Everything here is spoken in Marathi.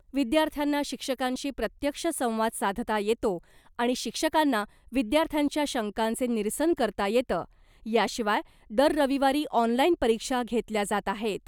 विद्यार्थ्यांना शिक्षकांशी प्रत्यक्ष संवाद साधता येतो आणि शिक्षकांना विद्यार्थ्यांच्या शंकांचे निरसन करता येतं याशिवाय दर रविवारी ऑनलाइन परीक्षा घेतल्या जात आहेत .